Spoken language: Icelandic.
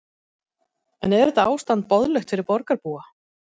En er þetta ástand boðlegt fyrir borgarbúa?